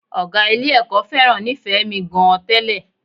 Ọ̀gá Ilé-ẹ̀kọ́ fẹ́ràn Nífẹ̀ẹ́mi gan-an tẹ́lẹ̀